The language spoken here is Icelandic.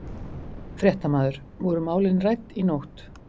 Fréttamaður: Voru málin rædd í nótt?